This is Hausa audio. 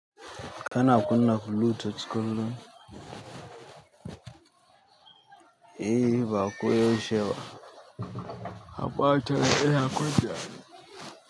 Kana kuna bluetooth kullum, eh ba ko yaushe ba, amma wata rana ina kunnawa.